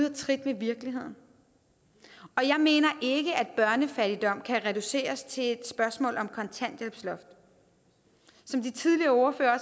af trit med virkeligheden og jeg mener ikke at børnefattigdom kan reduceres til et spørgsmål om kontanthjælpsloft som de tidligere ordførere